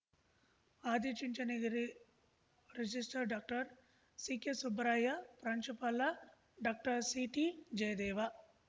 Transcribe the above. Adichunchanagiri registrar doctor C K Subbaraya ಪ್ರಾಂಶುಪಾಲ doctor C T Jayadeva